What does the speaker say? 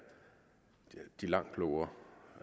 langt klogere